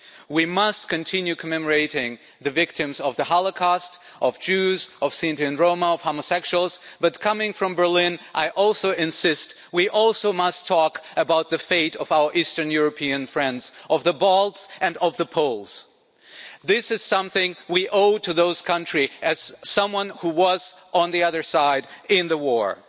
We must continue commemorating the victims of the Holocaust the Jews, the Sinti and Roma, and the homosexuals but coming from Berlin, I also insist we also must talk about the fate of our Eastern European friends, of the Balts and of the Poles. This is something we owe to those countries as someone who was on the other side in the war.